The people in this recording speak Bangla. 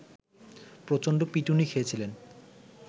প্রচন্ড পিটুনি খেয়েছিলেন